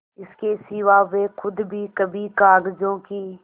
इसके सिवा वे खुद भी कभी कागजों की